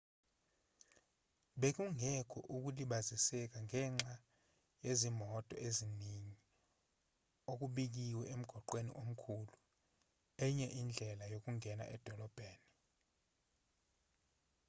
bekungekho ukulibaziseka ngenxa yezimoto eziningi okubikiwe emgwaqweni omkhulu enye indlela yokungena edolobheni